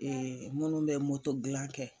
munnu bɛ gilan kɛ.